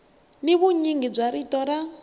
ni vunyingi bya rito ra